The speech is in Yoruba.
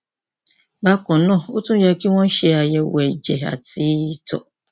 bákan náà ó tún yẹ kí wọn ṣe àyẹwò ẹjẹ àti ìtọ